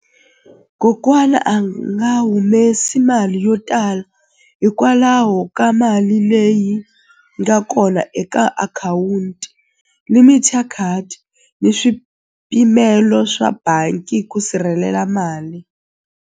Kokwana a nga humesi mali yo tala hikwalaho ka mali leyi nga kona eka akhawunti limit ya card ni swipimelo swa bangi ku sirhelela mali.